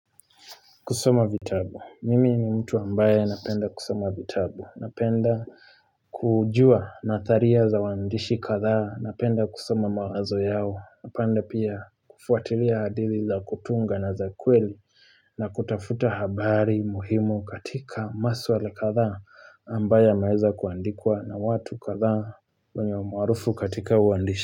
Kusoma vitabu, mimi ni mtu ambaye napenda kusoma vitabu Napenda kujua natharia za waandishi kadha Napenda kusoma mawazo yao Napenda pia kufuatilia hadithi za kutunga na za kweli na kutafuta habari muhimu katika maswala kadhaa ambayo yameweza kuandikwa na watu kadhaa wenye umaarufu katika uandishi.